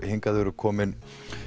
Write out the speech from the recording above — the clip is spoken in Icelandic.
hingað eru komin